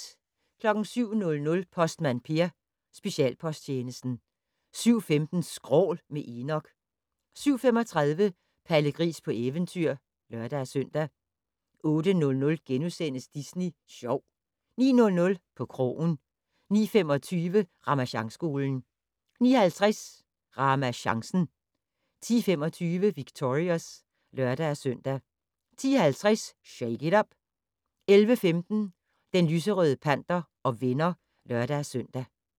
07:00: Postmand Per: Specialposttjenesten 07:15: Skrål - med Enok 07:35: Palle Gris på eventyr (lør-søn) 08:00: Disney Sjov * 09:00: På krogen 09:25: Ramasjangskolen 09:50: RamaChancen 10:25: Victorious (lør-søn) 10:50: Shake it up! 11:15: Den lyserøde panter og venner (lør-søn)